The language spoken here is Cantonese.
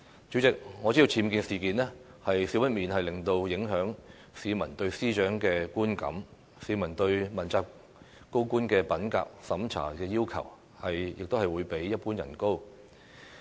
主席，我知道僭建事件少不免會影響市民對司長的觀感，市民對問責高官的品格審查要求，亦會比一般人高。